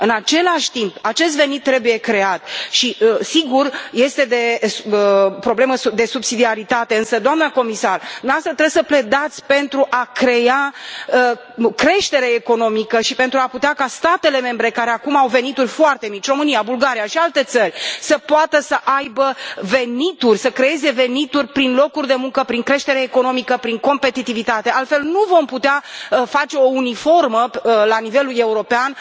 În același timp, acest venit trebuie creat și, sigur, este o problemă de subsidiaritate, însă, doamnă comisar, dumneavoastră trebuie să pledați pentru a crea creștere economică și pentru a putea ca statele membre, care acum au venituri foarte mici, România, Bulgaria și alte țări, să poată să aibă venituri, să creeze venituri prin locuri de muncă, prin creștere economică, prin competitivitate, altfel nu vom putea face o uniformitate la nivelul european.